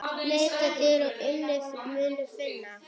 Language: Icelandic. Leitið og þér munuð finna!